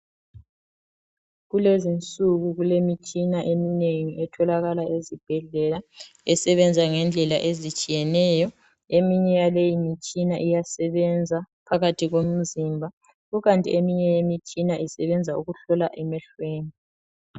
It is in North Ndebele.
Kulezinsuku kulemitshina eminengi etholakala esibhedlela Esebenza ngendlela ezitshiyeneyo .Eminye iyabe iyimtshina iyasebenza phakathi komzimba .Kukanti eminye imitshina isebenza ukuhlola emehlweni .